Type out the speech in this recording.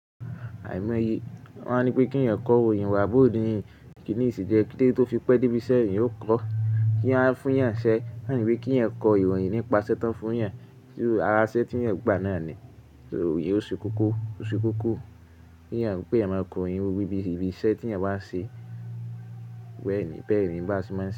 Àìmọye, wọ́n a ní pé kí èyàn kọ ìròyìn, wà á bò ó di ìrìn. Kí nì yì se jẹ́, kí dé tó fi pẹ́ dé bíṣẹ́ ìyàn ó kọ́? Kí wọ́n fún ìyàn ṣẹ́, wọ́n á ní pé kí iyàn kọ ìròyìn nípa sẹ́ tán fún ìyàn. Ara iṣẹ́ tí ìyàn gba náà ni, ìròyìn ó ṣe kókó, ó ṣe kókó. Kí ẹ̀yin máa pè ẹ̀ mọ́ ọkùnrin, wí bí iṣẹ́ tí ẹ̀yin bá ń ṣe wẹ́ẹ̀rín bẹ́ẹ̀rín bá ṣe máa ń ṣe.